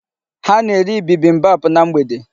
Ha na-eri bibimbap na mgbede.